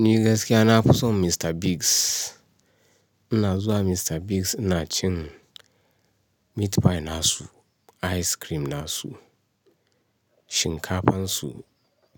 Ni gaskiya na fi son Mr. Biggs. Ina zuwa Mr. Biggs ina cin meat pie nasu, ice cream nasu, shinkafan su,